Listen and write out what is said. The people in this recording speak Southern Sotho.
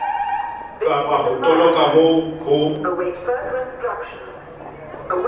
kapa ho toloka moo ho